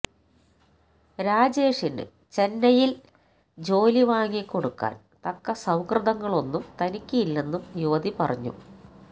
രാജേഷിന് ചെന്നൈയില് ജോലി വാങ്ങി കൊടുക്കാന് തക്ക സൌഹൃദങ്ങളൊന്നും തനിക്ക് ഇല്ലെന്നും യുവതി പറഞ്ഞു